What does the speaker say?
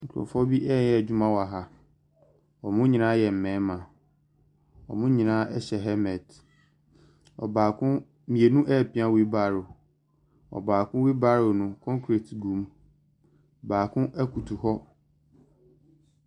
Nkurɔfoɔ bi reyɛ adwuma wɔ ha. Wɔn nyinaa yɛ mmarima. Wɔn nyinaa hyɛ helmet. Ɔbaako . Mmienu repia wheel barrow. Ɔbaako wheel barrow no, concrete gu mu. Baako koto hɔ.